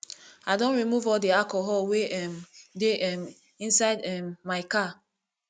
i don remove all the alcohol wey um dey um inside um my car